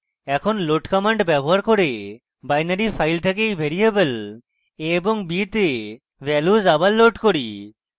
এখন load command ব্যবহার করে binary files থেকে এই ভ্যারিয়েবল a এবং b তে values আবার load করি